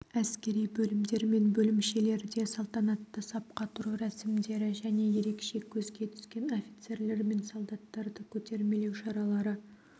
әскери бөлімдер мен бөлімшелерде салтанатты сапқа тұру рәсімдері және ерекше көзге түскен офицерлер мен солдаттарды көтермелеу шаралары